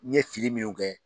N ɲe fili minnu kɛ